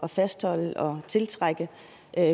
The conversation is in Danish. fastholde og tiltrække